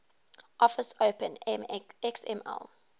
office open xml